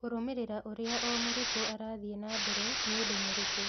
Kũrũmĩrĩra ũrĩa o mũrutwo arathiĩ na mbere nĩ ũndũ mũritũ.